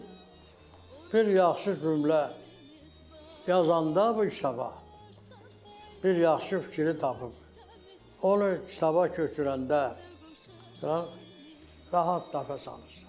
Bir bir yaxşı cümlə yazanla o insan bir yaxşı fikiri tapıb, onu kitaba köçürəndə rahat təpə salırsan.